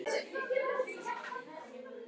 Og hvernig tengist hringrás þess hringrás vatns?